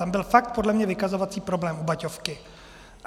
Tam byl fakt podle mě vykazovací problém u Baťovky.